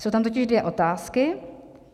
Jsou tam totiž dvě otázky.